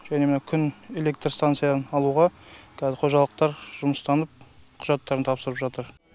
және мына күн электр станцияны алуға қазір қожалықтар жұмыстанып құжаттарын тапсырып жатыр